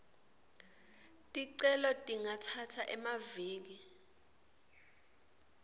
ticelo tingatsatsa emaviki